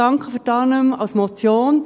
Danke für die Annahme als Motion.